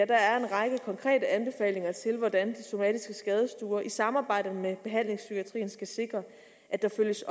række konkrete anbefalinger til hvordan de somatiske skadestuer i samarbejde med behandlingspsykiatrien skal sikre at der følges